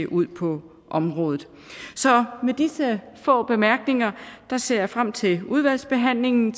ud på området så med disse få bemærkninger ser jeg frem til udvalgsbehandlingen